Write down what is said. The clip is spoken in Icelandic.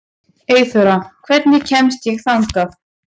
Eyþóra, hvernig kemst ég þangað?